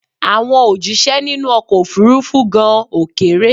Àwọn òjíṣẹ́ nínú ọkọ̀ òfurufú gan ò kéré